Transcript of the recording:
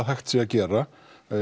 hægt sé að gera